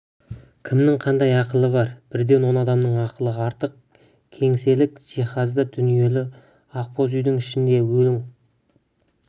кімнің қандай ақылы бар бірден он адамның ақылы артық кеңселік жиһазды дүниелі ақбоз үйдің ішінде өлік